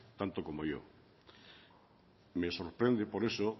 tanto como yo me sorprende por eso